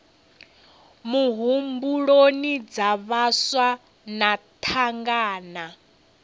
muhumbuloni dza vhaswa na thangana